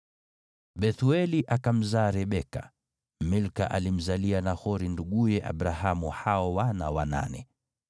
Bethueli akamzaa Rebeka. Milka alimzalia Nahori nduguye Abrahamu hao wana wanane.